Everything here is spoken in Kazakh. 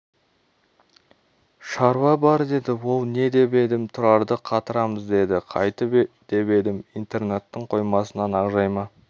шаруа бар деді ол не деп едім тұрарды қатырамыз деді қайтіп деп едім интернаттың қоймасынан ақжайма